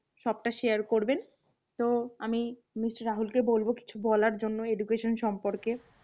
সবতা share করবেন। তো আমি MR রাহুলকে বলবো কিছু বলার জন্য education সম্পর্কে।